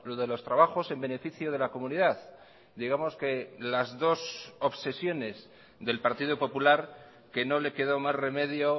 de los trabajos en beneficio de la comunidad digamos que las dos obsesiones del partido popular que no le quedó más remedio